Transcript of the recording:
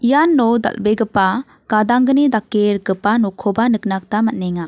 iano dal·begipa gadanggni dake rikgipa nokkoba nikna gita man·enga.